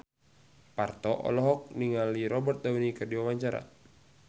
Parto olohok ningali Robert Downey keur diwawancara